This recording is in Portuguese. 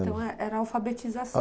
Então era alfabetização.